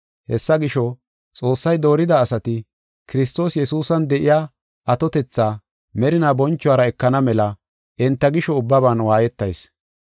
Hessa gisho, Xoossay doorida asati Kiristoos Yesuusan de7iya atotetha merinaa bonchuwara ekana mela enta gisho ubbaban waayetayis.